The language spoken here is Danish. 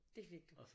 Det fik du